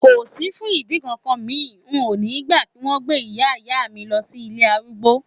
Kò sí fún ìdí kankan, mi ò ní gbà kí wón gbé Ìyá Ìyá mi lọ sí ilé arúgbó.